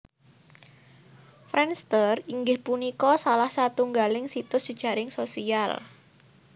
Friendster inggih punika salah satunggaling situs jejaring sosial